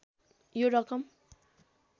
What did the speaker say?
यो रकम